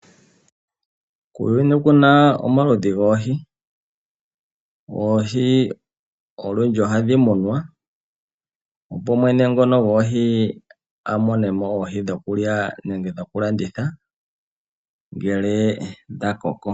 Kuuyuni okuna omaludhi goohi. Oohi olundji ohadhi munwa, opo mwene ngono goohi amonemo oohi dhokulya, nenge dhoku landitha ngele dha koko.